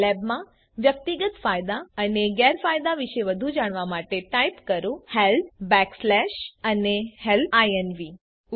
સાઈલેબમાં વ્યક્તિગત ફાયદા અને ગેરફાયદા વિશે વધુ જાણવા માટે ટાઇપ કરો હેલ્પ બેકસ્લેશ અને હેલ્પ ઇન્વ